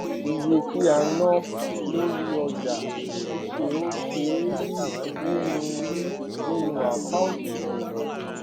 iye ti a ná lórí ọjà ṣíṣe ò ṣé ń rí nínú rí nínú account ìṣòwò